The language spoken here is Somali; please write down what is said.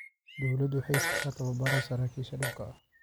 Dawladdu waxay siisaa tababaro saraakiisha dhulka ah.